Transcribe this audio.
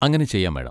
അങ്ങനെ ചെയ്യാം, മാഡം.